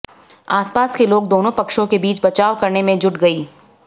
आसपास के लोग दोनों पक्षों के बीच बचाव करने में जुट गई